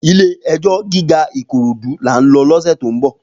Ilé èjò gigá Ikorodu lá n lò lòsè tó n bò